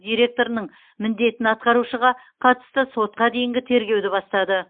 директорының міндетін атқарушыға қатысты сотқа дейінгі тергеуді бастады